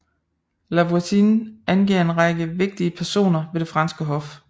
La Voisin angav en række vigtige personer ved det franske hof